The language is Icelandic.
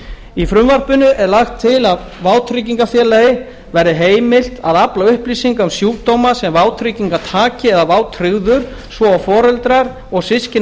í frumvarpinu er lagt til að vátryggingafélagi verði heimilt að afla upplýsinga um sjúkdóma sem vátryggingartaki eða vátryggður svo og foreldrar og systkini